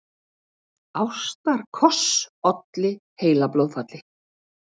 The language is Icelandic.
Ástarkoss olli heilablóðfalli